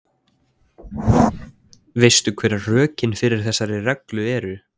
Veistu hver rökin fyrir þessari reglu eru?